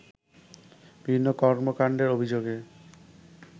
বিভিন্ন কর্মকাণ্ডের অভিযোগে